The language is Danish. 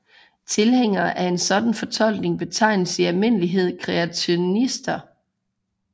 Tilhængere af en sådan fortolkning betegnes i almindelighed kreationister